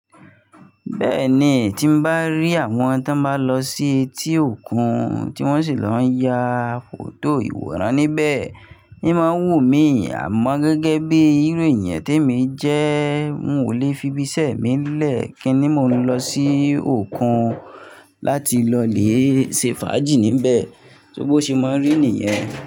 Bẹ́ẹ̀ni, tí n bá rí àwọn tó ń bá lọ sí etí òkun tí wọ́n sì lọ ń ya fọto ìwòran níbẹ̀, imá ń wù mí, àmọ́ gẹ́gẹ́ bí író èeyan tèmi jẹ́, n ò lè fi ibiṣẹ́ mi lẹ kin ni mo lè lọ sí òkun láti lọ lé ṣe fàájì níbẹ̀. Só bó ṣe máa ń rí niyẹn.